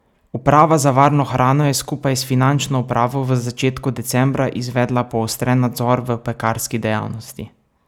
Uprava za varno hrano je skupaj s finančno upravo v začetku decembra izvedla poostren nadzor v pekarski dejavnosti.